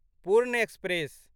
पूर्ण एक्सप्रेस